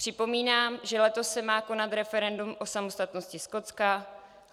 Připomínám, že letos se má konat referendum o samostatnosti Skotska.